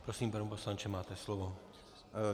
Prosím, pane poslanče, máte slovo.